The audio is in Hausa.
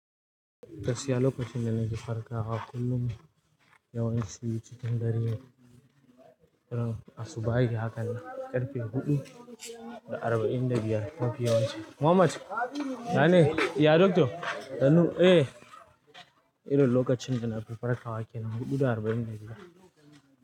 Gaskiya lokacin da nake farkawa kullum yawanci cikin dare a subahi haka na ƙarfe huɗu da arba'in da biyar mafi yawan su. Mohammed! Ya ne? Ya dokto? Sannu, eh. Rin lokacin da na fi farkawa kenan huɗu da arba'in da biyar.